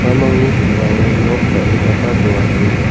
uamangni sambao nok dal·gipaba dongachim.